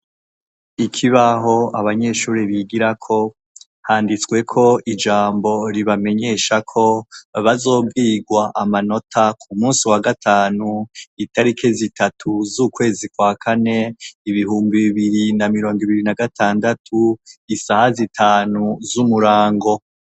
Ikibaho abanyeshure bigirako handitsweko ijambo ribamenyesha ko bazobwirwa amanota ku munsi wa gatanu, itarike zitatu z'ukwezi kwa kane ,ibihumbi bibiri na mirongo ibiri na gatandatu, isaha zitanu z'umurango.